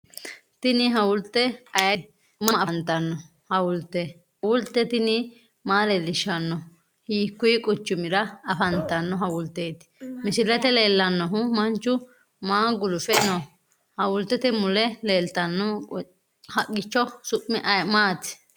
Tini hawulte ayeete? Mama afantanno? Hawulte tini maa leellishshanno? Hiikkuyi quchumira afantanno hawulteeti! Misilete leellannohu manchu maa gulufe no? Hawultete mule leeltanno haqqicho su'mi maati?